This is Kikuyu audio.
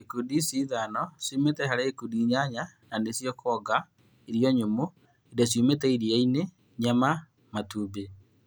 Ikundi ici ithano ciumĩte harĩ ikundi inyanya na nĩcio; kuonga, irio nyũmũ, indo ciumĩte iria-inĩ, nyama, matumbĩ